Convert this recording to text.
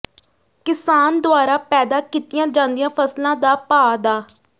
ਕਿਸਾਨ ਦੁਆਰਾ ਪੈਦਾ ਕੀਤੀਆਂ ਜਾਂਦੀਆਂ ਫਸਲਾਂ ਦਾ ਭਾਅ ਡਾ